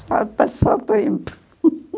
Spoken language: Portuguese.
Só passou o tempo.